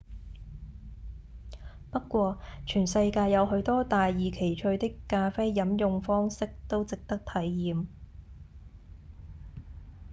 不過全世界有許多大異其趣的咖啡飲用方式都值得體驗